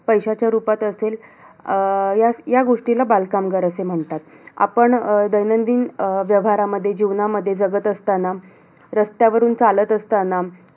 पैश्याच्या रुपात असेल, अं या या गोष्टीला बालकामगार असे म्हणतात. आपण अं दैनंदिन अं व्यवहारामध्ये, जीवनामध्ये जगत असतांना, रस्त्यावरून चालत असतांना.